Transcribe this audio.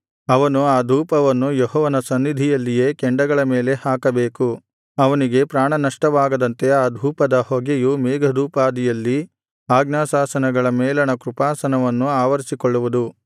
ಅವನು ಆ ಧೂಪವನ್ನು ಯೆಹೋವನ ಸನ್ನಿಧಿಯಲ್ಲಿಯೇ ಕೆಂಡಗಳ ಮೇಲೆ ಹಾಕಬೇಕು ಅವನಿಗೆ ಪ್ರಾಣನಷ್ಟವಾಗದಂತೆ ಆ ಧೂಪದ ಹೊಗೆಯು ಮೇಘದೋಪಾದಿಯಲ್ಲಿ ಆಜ್ಞಾಶಾಸನಗಳ ಮೇಲಣ ಕೃಪಾಸನವನ್ನು ಆವರಿಸಿಕೊಳ್ಳುವುದು